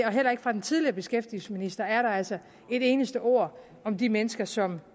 og heller ikke fra den tidligere beskæftigelsesminister er der altså et eneste ord om de mennesker som